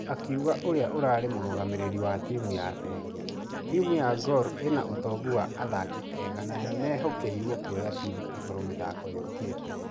Akĩuga ũrĩa ũrari mũragamĩrĩri wa timũ ya fengi, timũ ya gor ĩna ũtongũ wa athaki ega na nĩmehokeirwo kuoya timũ igũrũ mĩthako yokĩte.